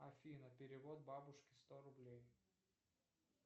афина перевод бабушке сто рублей